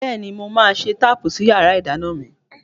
Bẹ́ẹ̀ni, mo máa ṣe táàpù sí yàrá ìdáná mi.